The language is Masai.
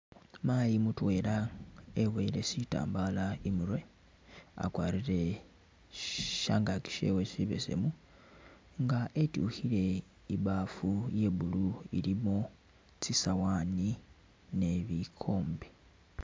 Mayi mutwela e'boyele sitambala i'murwe, akwarire sh'.. shangaki shewe sibesemu nga etyukhile ibafu iya blue ilimo tsisawani ne bikombe